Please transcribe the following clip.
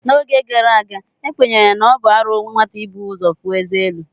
N'oge gara aga, ekwenyere na ọ bụ arụ nwata ibu ụzọ puo eze elu.